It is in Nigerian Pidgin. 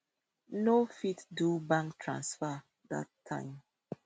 no fit do bank transfer dat time